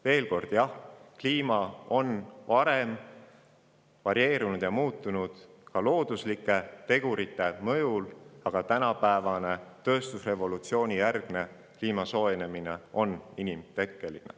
Veel kord, jah, kliima on ka varem varieerunud ja muutunud looduslike tegurite mõjul, aga tänapäevane tööstusrevolutsiooni järgne kliima soojenemine on inimtekkeline.